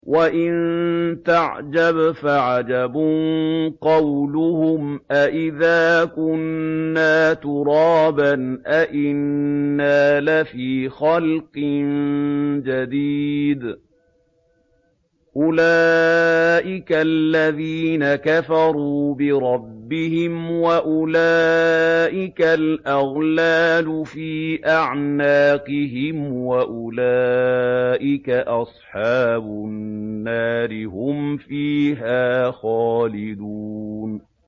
۞ وَإِن تَعْجَبْ فَعَجَبٌ قَوْلُهُمْ أَإِذَا كُنَّا تُرَابًا أَإِنَّا لَفِي خَلْقٍ جَدِيدٍ ۗ أُولَٰئِكَ الَّذِينَ كَفَرُوا بِرَبِّهِمْ ۖ وَأُولَٰئِكَ الْأَغْلَالُ فِي أَعْنَاقِهِمْ ۖ وَأُولَٰئِكَ أَصْحَابُ النَّارِ ۖ هُمْ فِيهَا خَالِدُونَ